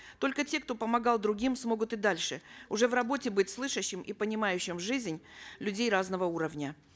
только те кто помогал другим смогут и дальше уже в работе быть слышащим и понимающим жизнь людей разного уровня